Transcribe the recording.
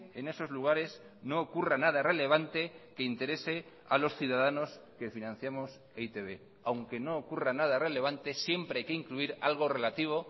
en esos lugares no ocurra nada relevante que interese a los ciudadanos que financiamos e i te be aunque no ocurra nada relevante siempre hay que incluir algo relativo